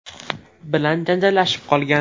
bilan janjallashib qolgan.